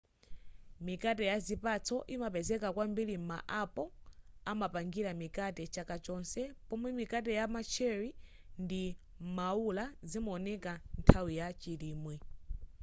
mikate ya zipatso imapezeka kwambiri ma apple amapangira mikate chaka chonse pomwe mikate ya ma cherry ndi maula zimaoneka nthawi ya chilimwe